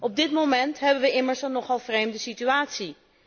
Op dit moment hebben we immers een nogal vreemde situatie.